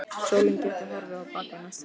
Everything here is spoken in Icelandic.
Sólin gæti horfið á bak við næsta ský.